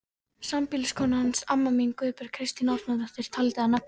Sambýliskona hans, amma mín, Guðbjörg Kristín Árnadóttir, taldi að nafni